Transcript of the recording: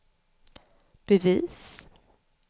bevis